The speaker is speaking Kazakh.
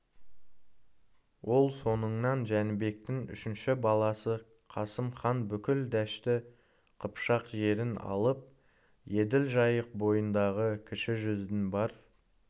ол соңынан жәнібектің үшінші баласы қасым хан бүкіл дәшті қыпшақ жерін алып еділ жайық бойындағы кіші жүздің бар